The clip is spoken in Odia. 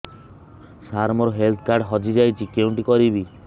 ସାର ମୋର ହେଲ୍ଥ କାର୍ଡ ହଜି ଯାଇଛି କେଉଁଠି କରିବି